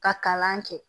Ka kalan kɛ